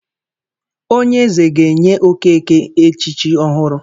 Onye eze ga-enye Okeke echichi ọhụrụ.